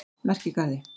Merkigarði